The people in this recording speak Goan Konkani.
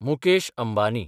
मुकेश अंबानी